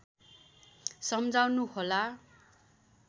सम्झाउनु होला